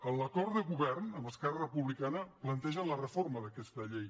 en l’acord de govern amb esquerra republicana plantegen la reforma d’aquesta llei